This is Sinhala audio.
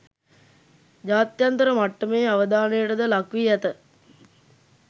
ජාත්‍යන්තර මට්ටමේ අවධානයටද ලක් වී ඇත